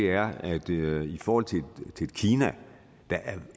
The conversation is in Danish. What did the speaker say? er at i forhold til et kina der er